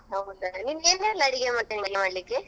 ಹೌದಾ ನಿಂಗೆ ಏನೆಲ್ಲಾ ಅಡಿಗೆ ಬರ್ತದೆ ಮಾಡ್ಲಿಕ್ಕೆ.